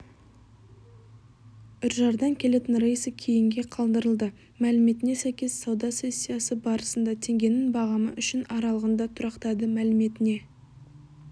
үржардан келетін рейсі кейінге қалдырылды мәліметіне сәйкес сауда сессиясы барысында теңгенің бағамы үшін аралығында тұрақтады мәліметіне